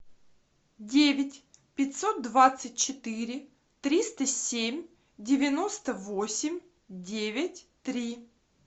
девять пятьсот двадцать четыре триста семь девяносто восемь девять три